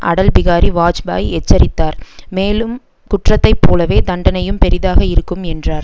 அடல் பிகாரி வாஜ்பாயி எச்சரித்தார் மேலும் குற்றத்தை போலவே தண்டனையும் பெரிதாக இருக்கும் என்றார்